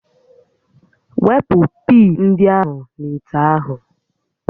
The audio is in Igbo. Wepụ pii ndị ahụ n'ite ahụ